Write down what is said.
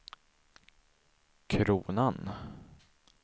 kronan